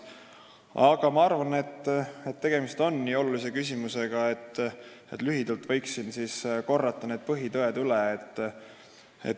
Aga ma arvan, et tegemist on nii olulise küsimusega, et lühidalt võib siin need põhitõed üle korrata.